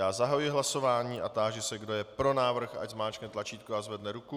Já zahajuji hlasování a táži se, kdo je pro návrh, ať zmáčkne tlačítko a zvedne ruku.